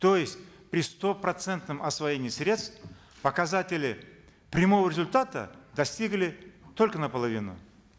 то есть при стопроцентном освоении средств показателей прямого результата достигли только наполовину